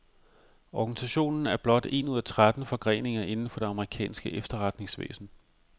Organisationen er blot en ud af tretten forgreninger inden for det amerikanske efterretningsvæsen.